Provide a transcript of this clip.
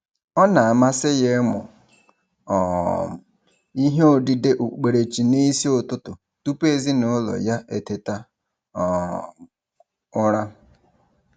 Ọ na-amasị ya ịmụ um ihe odide okpukperechi n'isi ụtụtụ tụpụ ezinaụlọ ya eteta um ụra.